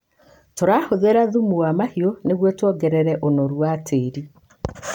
Tũrahũthĩra thumu wa mahiũ nĩguo tuongerere ũnoru wa tĩĩri